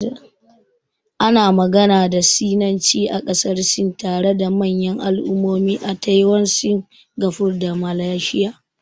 Ana magana da Sinanci a ƙasar Sin, tare da manyan al'ummomi a Taiwan, Singapore da Malaysia.